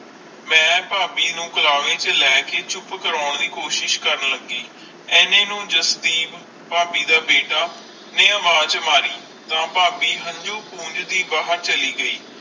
ਮਈ ਫਾਬੀ ਨੂੰ ਕਰਾਰੀ ਚ ਲੈ ਕੇ ਚੁੱਪ ਕਰਨ ਲੱਗੀ ਇੰਨੇ ਨੂੰ ਜਸਵੀਪ ਫਾਬੀ ਦਾ ਬੀਟਾ ਨੇ ਅਵਾਜ ਮਾਰੀ ਤਾ ਫਾਬੀ ਹੰਜੂ ਪੌਨਜ ਕਰ ਬਾਹਿਰ ਚਾਲੀ ਗਈ